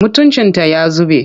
Mutuncinta ya zube.